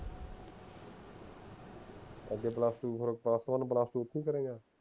ਅੱਗੇ plus two plus one ਐਥੇ ਹੀ ਕਰੇਂਗਾ